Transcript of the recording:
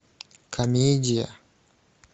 комедия